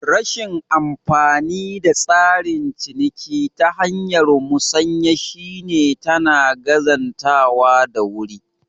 Rashin amfanin tsarin ciniki ta hanyar musanya shi ne tana gazantawa da wuri